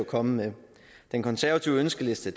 kommet med den konservative ønskeliste